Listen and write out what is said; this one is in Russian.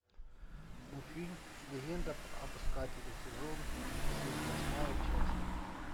мультфильм легенда об искателе сезон семь восьмая часть